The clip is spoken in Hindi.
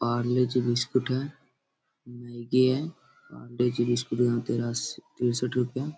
पार्ले जी बिस्कुट है। मैगी है। पार्ले जी बिस्कुट यहां तेरासी तीरेसठ रुपया.--